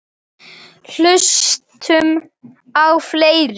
Hlustum á fleiri!